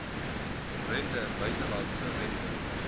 rente buitelandse rente